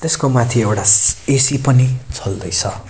यसको माथि एउटा श्श्श् ए_सी पनि चल्दै छ।